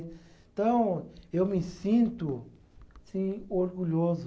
Então, eu me sinto assim orgulhoso.